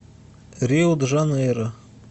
рио де жанейро